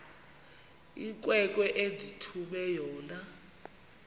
inkwenkwe endithume yona